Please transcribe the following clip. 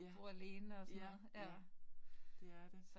Ja. Ja, ja det er det